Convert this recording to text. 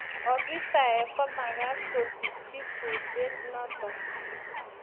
Ofisaek komakat kuskichi kurset notok.